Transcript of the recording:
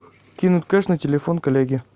кинуть кэш на телефон коллеге